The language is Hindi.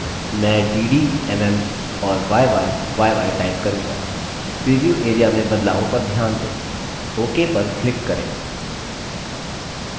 मैं dd mm और yyyy type करूँगा प्रीव्यू area में बदलावों पर ध्यान दें ok पर click करें